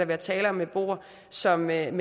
være tale om en beboer som ved en